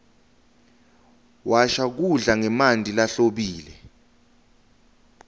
washa kudla ngemanti lahlobile